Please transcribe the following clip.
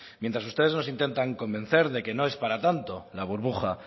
mientras ustedes nos intentan convencer de que no es para tanto la burbuja